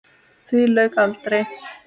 Því lauk aldrei.